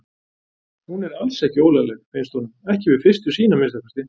Hún er alls ekki ólagleg, finnst honum, ekki við fyrstu sýn að minnsta kosti.